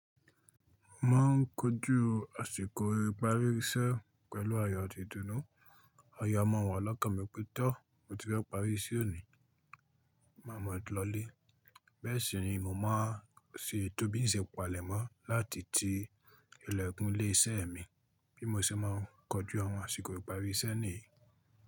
Mo ma ń kojú àsìkò ìparí iṣẹ́ pẹ̀lú ayò ati ìdùnnú. Ayò a máa wa lọ́kan mi pẹ́ tọ́ mo ti fẹ́ parí iṣẹ́ òní, màá mọ̀ ọ́ lọlé. Bẹ́ẹ̀ sì ni mo máa ń ṣe tóbi ǹṣe ìpàlẹ̀mọ́ láti ti ilẹ̀kùn ilé iṣẹ́ mi bí mo ṣe má ń kojú àwọn àsìkò ìparí iṣẹ́ níyì.